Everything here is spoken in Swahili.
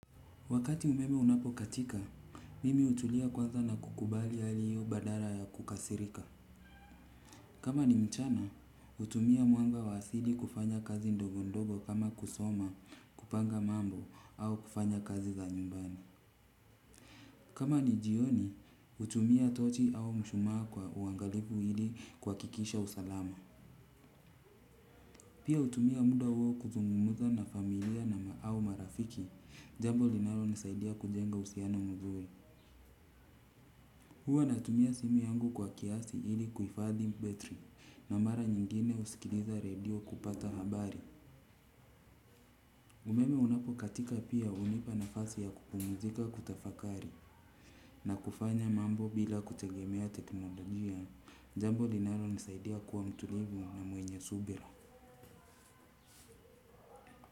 Wakati umeme unapokatika, mimi hutulia kwanza na kukubalia hali hiyo badala ya kukasirika. Kama ni mchana, hutumia mwanga wa asili kufanya kazi ndogo ndogo kama kusoma, kupanga mambo au kufanya kazi za nyumbani. Kama ni jioni, hutumia tochi au mshumaa kwa uangalifu ili kuhakikisha usalama. Pia hutumia muda huo kuzungumuza na familia na au marafiki jambo linalonisaidia kujenga uhusiana mzuri. Huwa natumia simu yangu kwa kiasi ili kuhifadhi battery na mara nyingine husikiliza radio kupata habari. Umeme unapokaika pia hunipa nafasi ya kupumzika kutafakari na kufanya mambo bila kutegemea teknolojia. Jambo linalonisaidia kuwa mtulivu na mwenye subira.